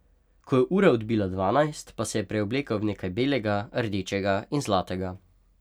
Ko je ura odbila dvanajst, pa se je preoblekel v nekaj belega, rdečega in zlatega.